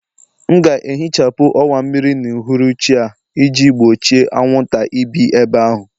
M ga-ehichapụ ọwa mmiri n'uhuruchi a iji gbochie anwụnta ibi ebe ahụ